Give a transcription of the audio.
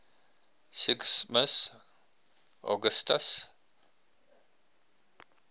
sigismund augustus